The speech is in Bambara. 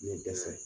Ne dɛsɛ